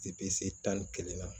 Depi se tan ni kelen na